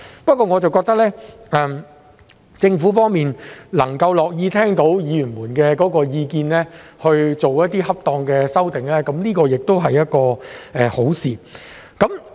不過，我覺得政府樂意聽取議員的意見，作出恰當的修訂，這是一件好事。